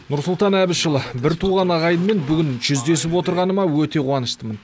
нұрсұлтан әбішұлы біртуған ағайынмен бүгін жүздесіп отырғаныма өте қуаныштымын